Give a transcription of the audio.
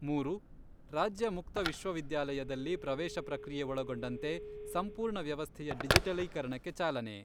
ಮೂರು, ರಾಜ್ಯ ಮುಕ್ತ ವಿಶ್ವವಿದ್ಯಾಲಯದಲ್ಲಿ ಪ್ರವೇಶ ಪ್ರಕ್ರಿಯೆ ಒಳಗೊಂಡಂತೆ ಸಂಪೂರ್ಣ ವ್ಯವಸ್ಥೆಯ ಡಿಜಿಟಲೀಕರಣಕ್ಕೆ ಚಾಲನೆ.